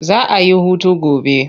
Za a yi hutu gobe.